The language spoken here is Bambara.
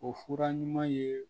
O fura ɲuman ye